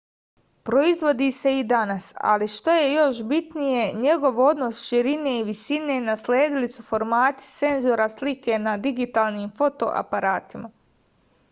proizvodi se i danas ali što je još bitnije njegov odnos širine i visine nasledili su formati senzora slike na digitalnim fotoaparatima